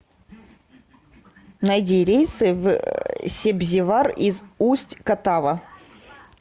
найди рейсы в себзевар из усть катава